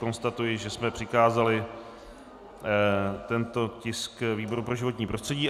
Konstatuji, že jsme přikázali tento tisk výboru pro životní prostředí.